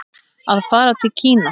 Að fara til Kína?